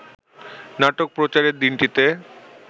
নাটক প্রচারের দিনটিতে